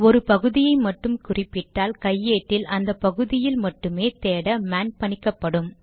ஒரு பகுதியை மட்டும் குறிப்பிட்டால் கையேட்டில் அந்த பகுதியில் மட்டுமே தேட மேன் பணிக்கப்படும்